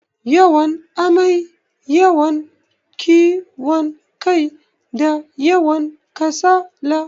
Yawan amai, yawan kiwon kai, da yawan kasala.